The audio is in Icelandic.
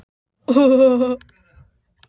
Ég skildi ekki hvað maðurinn var að fara.